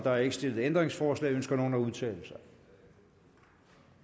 er ikke stillet ændringsforslag ønsker nogen at udtale